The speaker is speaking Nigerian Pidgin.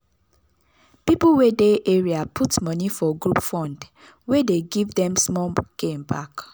people wey dey area put money for group fund wey dey give them small gain back.